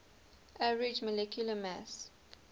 average molecular mass